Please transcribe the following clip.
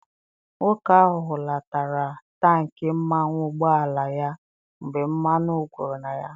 Nwoke ahụ hulatara tankị mmanụ ụgbọala ya mgbe mmanụ gwụrụ na ya.